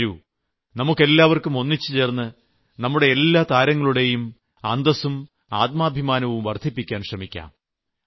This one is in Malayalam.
വരൂ നമുക്കെല്ലാവർക്കും ഒന്നിച്ചുചേർന്ന് നമ്മുടെ എല്ലാ താരങ്ങളുടെയും അന്തസ്സും ആത്മാഭിമാനവും വർദ്ധിപ്പിക്കുവാൻ ശ്രമിക്കാം